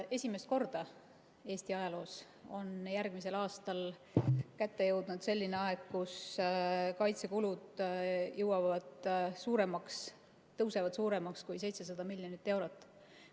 Esimest korda Eesti ajaloos jõuab järgmisel aastal kätte selline aeg, kui kaitsekulud tõusevad suuremaks kui 700 miljonit eurot.